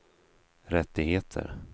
rättigheter